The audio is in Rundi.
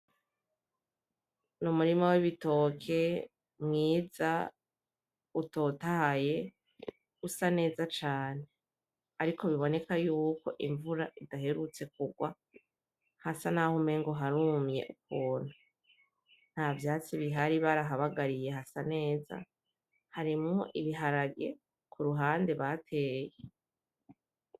Numurima wibitoke mwiza utotahaye usa neza cane, ariko bibonekako yuko imvura idaherutse kurwa hasa naho umengo harumye ukuntu, ntavyatsi bihari barahabagariye hasa neza harimwo ibiharage kuruhande bateye .